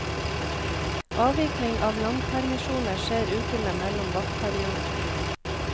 Avvikling av langpermisjoner skjer ukene mellom vaktperiodene.